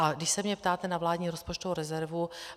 A když se mě ptáte na vládní rozpočtovou rezervu.